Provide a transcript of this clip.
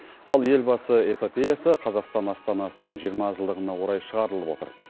ал елбасы эпопеясы қазақстан астанасының жиырма жылдығына орай шығарылып отыр